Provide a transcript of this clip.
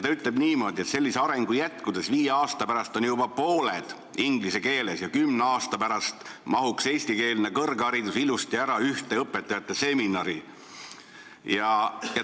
Ta ütleb niimoodi, et sellise arengu jätkudes on viie aasta pärast juba pooled ained inglise keeles ja kümne aasta pärast mahuks eestikeelne kõrgharidus ilusasti ära ühte õpetajate seminari.